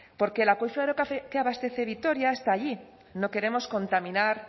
porque el acuífero que abastece vitoria está allí no queremos contaminar